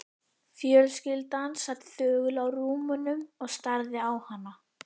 Fjölskyldan sat þögul á rúmunum og starði á hana.